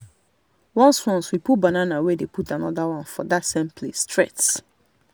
once once we pull banana we dey put another one for that same place straight.